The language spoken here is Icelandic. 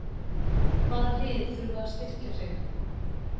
Hvaða lið þurfa að styrkja sig?